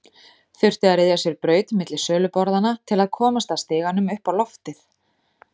Þurfti að ryðja sér braut milli söluborðanna til að komast að stiganum upp á loftið.